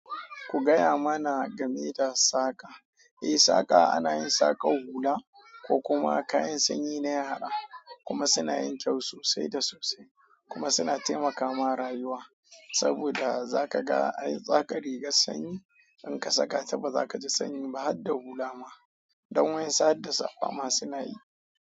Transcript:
Ku gaya mana game da saƙa. Eh, saƙa ana yin saƙa hula ko kuma kayan sanyi na yara kuma suna yin kyau sosai da sosai kuma suna taimakama rayuwa. Saboda za ka ga ai za ka riga sanyi in ka saka ta ba za ka ji sanyi ba har da hula ma. Don wa, ansu harda safa ma suna yi.